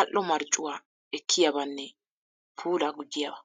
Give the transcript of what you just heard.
al"o marccuwa ekkiyabanne puulaa gujjiyaba.